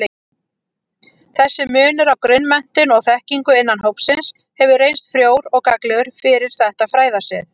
Þessi munur á grunnmenntun og-þekkingu innan hópsins hefur reynst frjór og gagnlegur fyrir þetta fræðasvið.